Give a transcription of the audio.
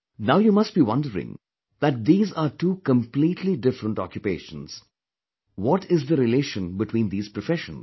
Now you must be wondering that these are two completely different occupations what is the relation between these professions